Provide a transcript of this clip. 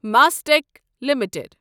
مستماسٹٮ۪ک limited